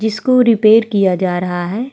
जिसको रिपेयर किया जा रहा है।